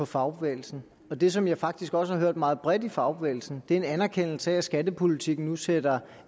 fagbevægelsen det som jeg faktisk også har hørt meget bredt i fagbevægelsen er en anerkendelse af at skattepolitikken nu sætter